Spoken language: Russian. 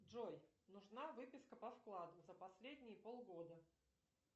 джой нужна выписка по вкладу за последние полгода